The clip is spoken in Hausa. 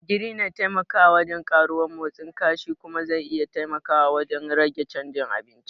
Ogiri na taimakawa wajen karuwar motsin kashi kuma zai iya taimakawa wajen rage chanjin abinci.